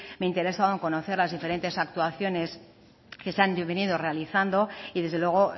me interesaba conocer las diferentes actuaciones que se han venido realizando y desde luego